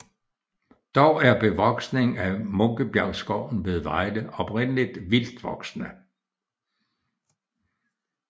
Dog er bevoksningen i Munkebjergskoven ved Vejle oprindeligt vildtvoksende